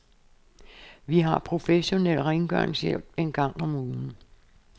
Vi har professionel rengøringshjælp en gang om ugen.